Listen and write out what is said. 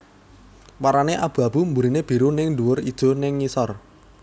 Warnané abu abu mburiné biru nèng dhuwur ijo nèng ngisor